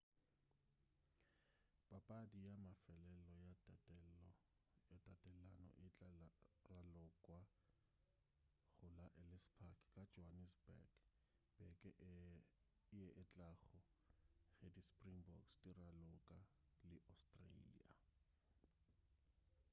papadi ya mafelelo ya tatelano e tla ralokwa go la ellis park ka johannesburg beke ye etlago ge di springboks di raloka le australia